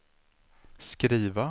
skriva